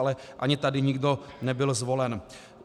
Ale ani tady nebyl nikdo zvolen.